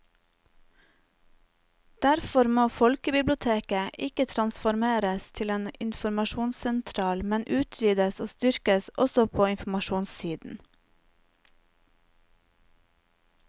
Derfor må folkebiblioteket ikke transformeres til en informasjonssentral, men utvides og styrkes også på informasjonssiden.